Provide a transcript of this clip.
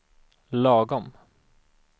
lagom